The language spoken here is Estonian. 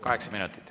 Kaheksa minutit.